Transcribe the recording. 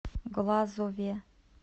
глазове